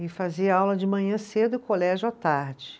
E fazia aula de manhã cedo e colégio à tarde.